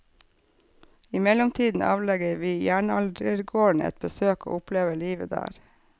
I mellomtiden avlegger vi jernaldergården et besøk og opplever livet der.